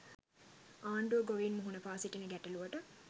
ආණ්‌ඩුව ගොවීන් මුහුණපා සිටින ගැටලුවට